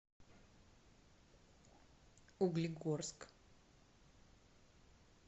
углегорск